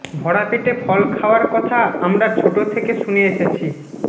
ভরা পেটে ফল খাওয়ার কথা আমরা ছোট থেকে শুনে এসেছি